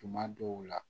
Tuma dɔw la